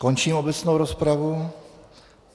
Končím obecnou rozpravu.